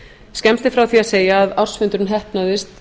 skemmst er frá því að segja að ársfundurinn heppnaðist